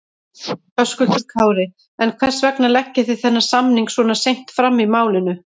Höskuldur Kári: En hvers vegna leggið þið þennan samning svona seint fram í málinu?